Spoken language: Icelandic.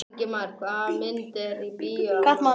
Ingimar, hvaða myndir eru í bíó á mánudaginn?